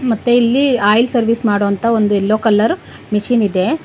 ಮತ್ತೆ ಇಲ್ಲಿ oil service ಮಾಡೊ ಅಂತ ಒಂದ್ ಯಲ್ಲೋ ಕಲರ್ ಮಿಷೀನ್ ಇದೆ.